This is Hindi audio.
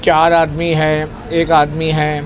चार आदमी हैं एक आदमी हैं।